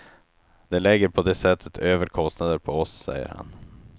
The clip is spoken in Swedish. De lägger på det sättet över kostnader på oss, säger han.